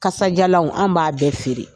Kasajalanw an b'a bɛɛ feere